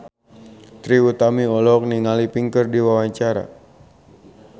Trie Utami olohok ningali Pink keur diwawancara